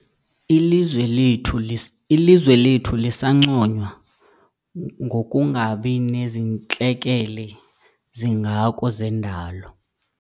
Ilizwe lethu Ilizwe lethu lisanconywa ngokungabi nazintlekele zingako zendalo.